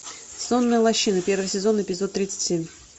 сонная лощина первый сезон эпизод тридцать семь